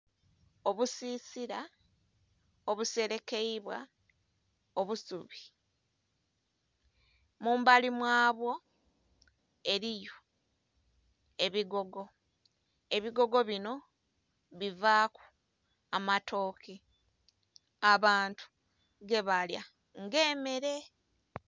Obusisila obuselekeibwa obusubi, mumbali mwabwo eriyo ebigogo, ebigogo binho bivaku amatoke abantu gebalya nga emere.